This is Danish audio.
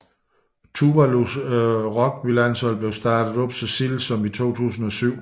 Tuvalus rugbylandshold blev startet op så sent som i 2007